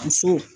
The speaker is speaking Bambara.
Muso